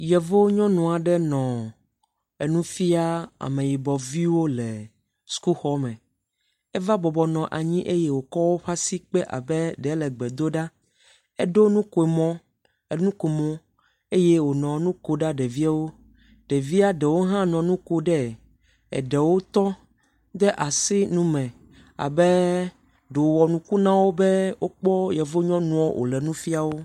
Yevu nyɔnu aɖe nɔ enu fia ameyibɔviwo le sukuxɔ me, eve bɔbɔ nɔ anyi eye wòkɔ eƒe asi kpe abe ɖe wòle gbe dom ɖa. eɖo nukomɔ, nukomo eye wònɔ nu kom na ɖeviawo, ɖeviawo ɖewo hã nɔ nu ko ɖe, eɖewo tɔ, de asi nume abe ɖo wòwɔ nuku na wo na wo be wokpɔ yevu nyɔnua wònɔ nu fia wo.